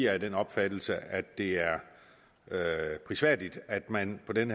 er af den opfattelse at det er prisværdigt at man på den